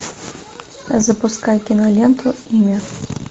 запускай киноленту имя